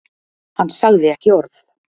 Hann sagði ekki orð.